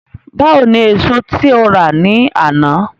Báwo ni èso tí o rà ní àná?